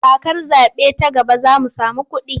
Kakar zaɓe ta gaba za mu samu kuɗi.